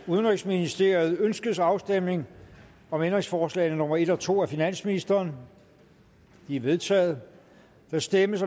udenrigsministeriet ønskes afstemning om ændringsforslag nummer en og to af finansministeren de er vedtaget der stemmes